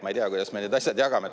Ma ei tea, kuidas me need asjad jagame.